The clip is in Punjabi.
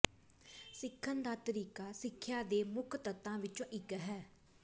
ਸਿੱਖਣ ਦਾ ਤਰੀਕਾ ਸਿੱਖਿਆ ਦੇ ਮੁੱਖ ਤੱਤਾਂ ਵਿੱਚੋਂ ਇੱਕ ਹੈ